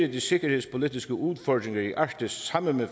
de sikkerhedspolitiske udfordringer i arktis sammen med